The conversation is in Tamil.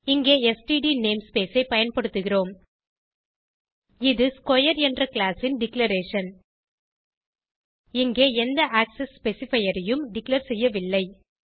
இங்கே ஸ்ட்ட் நேம்ஸ்பேஸ் ஐ பயன்படுத்துகிறோம் இது ஸ்க்வேர் என்ற கிளாஸ் ன் டிக்ளரேஷன் இங்கே எந்த ஆக்செஸ் ஸ்பெசிஃபையர் ஐயும் டிக்ளேர் செய்யவில்லை